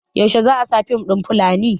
yaushe za a sa fim ɗin Fulani?